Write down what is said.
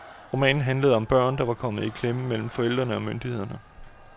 Romanen handlede om børn, der var kommet i klemme mellem forældrene og myndighederne.